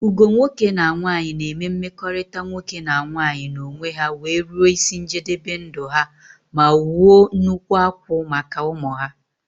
Ugo nwoke na nwanyi na eme mmekọrịta nwoke na nwanyi na onwe ha wee ruo isi njebebe ndụ ha ma wuo nnukwu akwụ́ maka ụmụ ha.